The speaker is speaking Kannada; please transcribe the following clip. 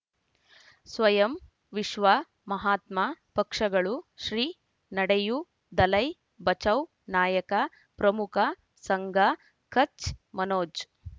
ಸ್ವಯಂ ವಿಶ್ವ ಮಹಾತ್ಮ ಪಕ್ಷಗಳು ಶ್ರೀ ನಡೆಯೂ ದಲೈ ಬಚೌ ನಾಯಕ ಪ್ರಮುಖ ಸಂಘ ಕಚ್ ಮನೋಜ್